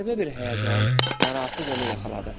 Qəribə bir həyəcan, narahatlıq onu yaxaladı.